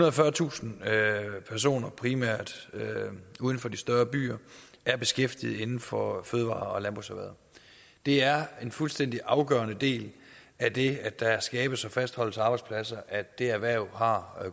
og fyrretusind personer primært uden for de større byer er beskæftiget inden for fødevare og landbrugserhvervet det er en fuldstændig afgørende del af det at der skabes og fastholdes arbejdspladser at det erhverv har